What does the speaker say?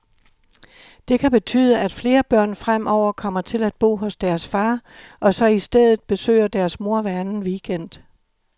Det kan betyde, at flere børn fremover kommer til at bo hos deres far, og så i stedet besøger deres mor hver anden weekend.